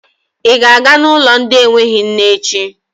Ị ga-aga n'ụlọ ndị enweghị nne echi?